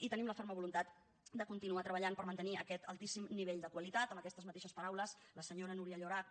i tenim la ferma voluntat de continuar treballant per mantenir aquest altíssim nivell de qualitat amb aquestes mateixes paraules la senyora núria llorach